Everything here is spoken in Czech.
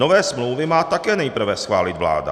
Nové smlouvy má také nejprve schválit vláda.